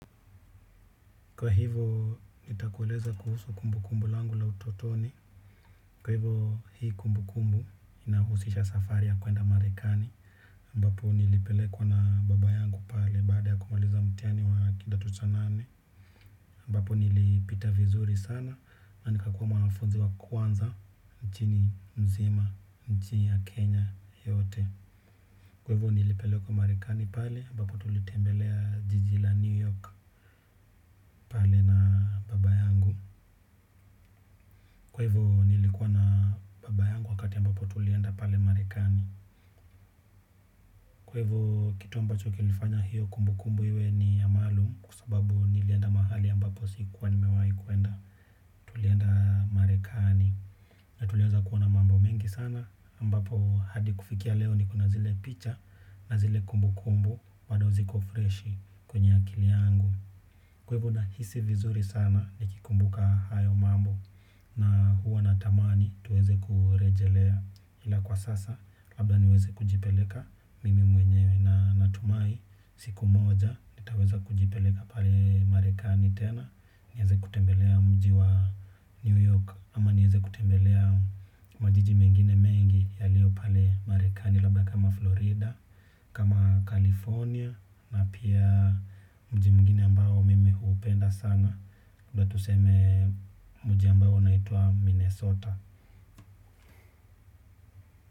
Kwa hivyo nitakuweleza kuhusu kumbu kumbu langu la utotoni. Kwa hivyo hii kumbu kumbu inahusisha safari ya kuenda marekani ambapo nilipelekwa na baba yangu pale baada ya kumaliza mtiani wa kidato cha nane ambapo nilipita vizuri sana na nikakua mwafunzi wa kwanza. Nchini mzima, nchini ya Kenya yote. Kwa hivyo nilipelekwa marekani pale, ambapo tulitembelea jiji la New York pale na baba yangu. Kwevo nilikuwa na baba yangu wakati ambapo tulienda pale marekani. Kwevo kitu ambacho kilifanya hiyo kumbu kumbu hiwe ni amalu. Kua sababu nilienda mahali ambapo sikuwa ni mewai kuenda. Tulienda marekani. Na tulieza kuwona mambo mengi sana ambapo hadi kufikia leo niko na zile picha. Na zile kumbu kumbu bado ziko freshi kwenye akili yangu. Kwevo na hisi vizuri sana ni kikumbuka hayo mambo. Na huwa natamani tuweze kurejelea ila kwa sasa, labda niweze kujipeleka mimi mwenyewe na natumai siku moja, nitaweza kujipeleka pale marekani tena, niyeze kutembelea mji wa New York, ama nyeze kutembelea majiji mengine mengi yalio pale marekani, labda kama Florida, kama California, na pia mji mngine ambao mimi upenda sana. Labda tuseme muji ambao wanaituwa Minnesota.